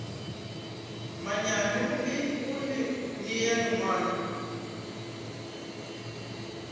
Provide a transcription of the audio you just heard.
manyami go le nea lengwalo